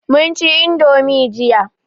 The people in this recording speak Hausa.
mun ci indomi jiya